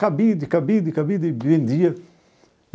Cabide, cabide, cabide, vendia.